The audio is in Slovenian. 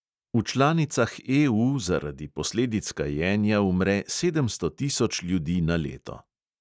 V članicah EU zaradi posledic kajenja umre sedemsto tisoč ljudi na leto.